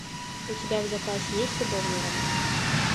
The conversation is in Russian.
у тебя в запасе есть любовные романы